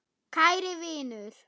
Kæri vinur.